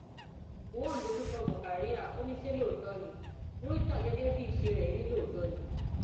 gọwọn dojú kọ murkaria ó ní ṣé lóòótọ ní murità gẹgẹ bíi iṣẹ rẹ ní òótọ ni